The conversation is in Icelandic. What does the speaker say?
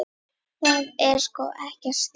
Það er sko ekkert slor.